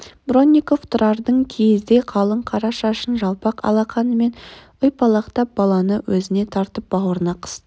бронников тұрардың киіздей қалың қара шашын жалпақ алақанымен ұйпалақтап баланы өзіне тартып бауырына қысты